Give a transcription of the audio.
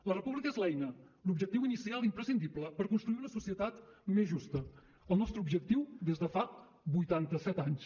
la república és l’eina l’objectiu inicial imprescindible per construir una societat més justa el nostre objectiu des de fa vuitanta set anys